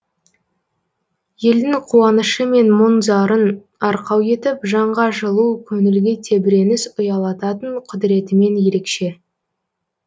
елдің қуанышы мен мұң зарын арқау етіп жанға жылу көңілге тебіреніс ұялататын құдіретімен ерекше